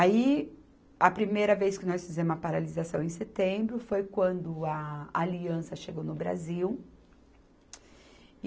Aí, a primeira vez que nós fizemos a paralisação, em setembro, foi quando a Aliança chegou no Brasil.